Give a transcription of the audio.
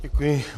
Děkuji.